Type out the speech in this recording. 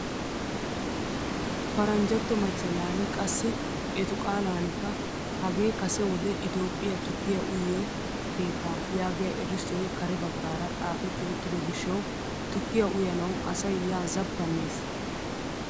Paranjjatto machchalaani qassi etu qaalanikka hagee kase wode itoophphiyaa tukkiyaa uyiyoo keettaa yaagiyaa erissoy kare baggaara xaafetti uttido gishshawu tukkiyaa uyanawu asay yaa zappannees!